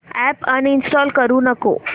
app uninstall करू नको